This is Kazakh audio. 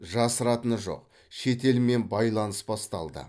жасыратыны жоқ шетелмен байланыс басталды